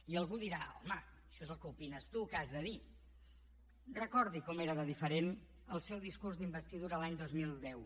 i algú dirà home això és el que opines tu què has de dir recordi com era de diferent el seu discurs d’investidura l’any dos mil deu